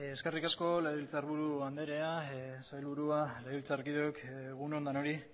eskerrik asko legebiltzarburu anderea sailburua legebiltzarkideok egun on denoi